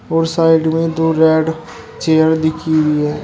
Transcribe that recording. और साइड में दो रेड चेयर दिखी हुई है।